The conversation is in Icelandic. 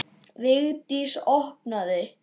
Vigdís opnaði.